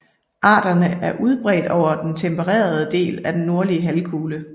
Arterne er udbredt over hele den tempererede del af den nordlige halvkugle